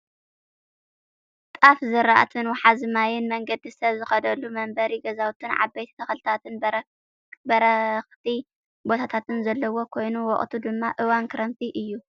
ጣፍ ዝርኣትን ውሓዚ ማይን መንገዲ ሰብ ዝከደሉን መንበሪ ገዛውትን ዓበይቲ ተክልታትን በረክቲ ቦታታትን ዘሎ ኮይኑ ወቅቱ ድማ እዋን ክረምቲ እዩ።